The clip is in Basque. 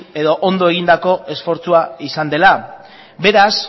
edo ondo egindako esfortzua izan dela beraz